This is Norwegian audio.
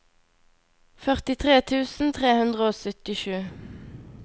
førtitre tusen tre hundre og syttisju